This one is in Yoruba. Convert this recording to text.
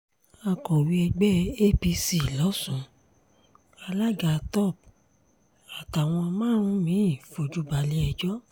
akọ̀wé ẹgbẹ́ apc lọ́sùn alága top àtàwọn márùn-ún mi-ín fojú balẹ̀-ẹjọ́